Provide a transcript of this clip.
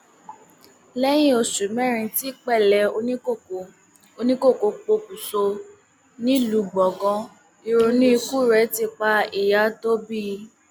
lẹyìn oṣù mẹrin tí pẹlẹ oníkókó oníkókó pokùṣọ nílùú gbọngàn ìrònú ikú rẹ ti pa ìyà tó bí i